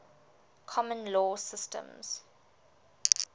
common law systems